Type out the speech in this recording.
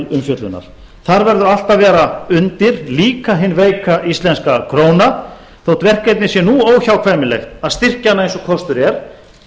umfjöllunar þar verður allt að vera undir líka hin veika íslenska króna þótt verkefnið sé nú óhjákvæmilegt að styrkja hana eins og kostur er